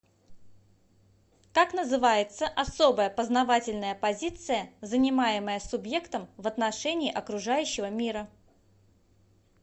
как называется особая познавательная позиция занимаемая субъектом в отношении окружающего мира